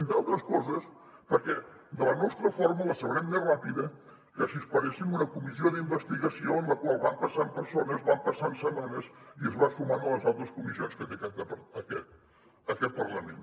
entre altres coses perquè de la nostra forma la sabrem més ràpida que si esperéssim una comissió d’investigació en la qual van passant persones van passant setmanes i es va sumant a les altres comissions que té aquest parlament